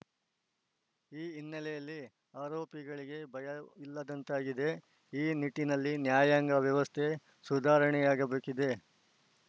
ಈ ಹಿನ್ನೆಲೆಯಲ್ಲಿ ಆರೋಪಿಗಳಿಗೆ ಭಯವಿಲ್ಲದಂತಾಗಿದೆ ಈ ನಿಟ್ಟಿನಲ್ಲಿ ನ್ಯಾಯಾಂಗ ವ್ಯವಸ್ಥೆ ಸುಧಾರಣೆಯಾಗಬೇಕಿದೆ